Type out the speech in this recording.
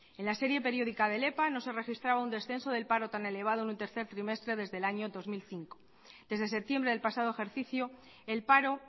en la serie periódica del epa no se registraba un descenso del paro tan elevado en el tercer trimestre desde el año dos mil cinco desde septiembre del pasado ejercicio el paro